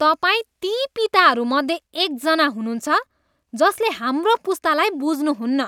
तपाईँ ती पिताहरू मध्ये एकजना हुनुहुन्छ जसले हाम्रो पुस्तालाई बुझ्नुहुन्न।